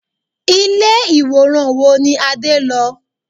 Ilé ìwòran wo ni Adé lọ?